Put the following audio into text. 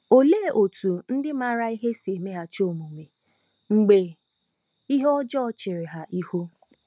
Olee otú ndị maara ihe si emeghachi omume mgbe ihe ọjọọ chere ha ihu?